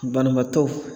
Banabaatɔ